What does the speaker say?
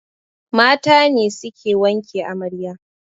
Mata ne suke wanke amarya